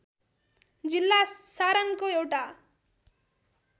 जिल्ला सारनको एउटा